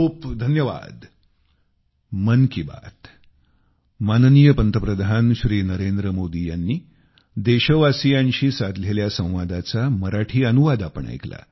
खूपखूप धन्यवाद